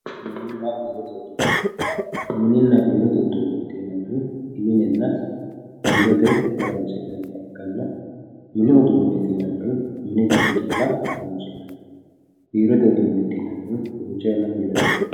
Mininna biirote uduunicho yinannihu minenna biirote horonsi'nanniha ikkanna mini uduuneti yinannihu mini giddo calla horonsi'nanniho, biirote uduuncho duucha yanna biirote horonsi'nanni.